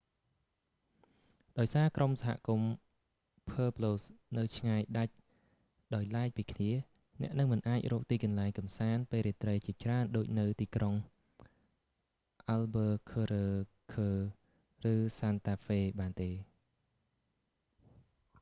ដោយសារក្រុមសហគមន៍ pueblos នៅឆ្ងាយដាច់ដោយឡែកពីគ្នា អ្នកនឹងមិនអាចរកទីកន្លែងកម្សាន្តពេលរាត្រីជាច្រើនដូចនៅទីក្រុង albuquerque ឬ santa fe នោះទេ